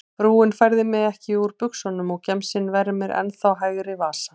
Frúin færði mig ekki úr buxunum og gemsinn vermir ennþá hægri vasa.